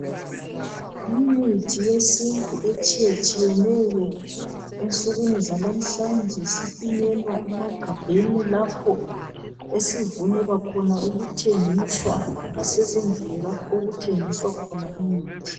Imithi yesintu etshiyatshiyeneyo ensukwini zalamhlanje sipinyelwa emagabheni lapho esivunyelwa khona ukuthengiswa lasezindlini lapho okuthengiswa khona imithi.